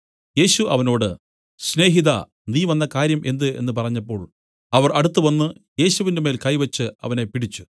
യേശു അവനോട് സ്നേഹിതാ നീ വന്ന കാര്യം എന്ത് എന്നു പറഞ്ഞപ്പോൾ അവർ അടുത്തുവന്ന് യേശുവിന്മേൽ കൈ വെച്ച് അവനെ പിടിച്ച്